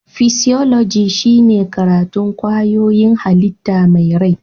Fisioloji shine karatun kwayoyin hallita mai rai